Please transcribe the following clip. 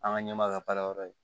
An ka ɲɛmaa ka baara yɔrɔ ye